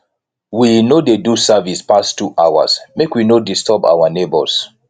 we no dey do service pass two hours make we no disturb our nebors